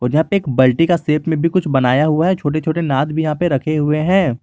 यहां पे एक बल्टी का शेप में भी कुछ बनाया हुआ है छोटे छोटे नाद भी यहां पे रखे हुए हैं।